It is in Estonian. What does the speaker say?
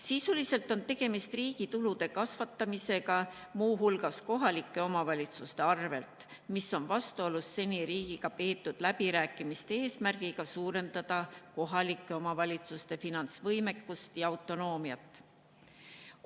Sisuliselt on tegemist riigi tulude kasvatamisega muu hulgas kohalike omavalitsuste arvel, mis on vastuolus seni riigiga peetud läbirääkimiste eesmärgiga suurendada kohalike omavalitsuste finantsvõimekust ja autonoomiat.